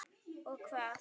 Og hvað?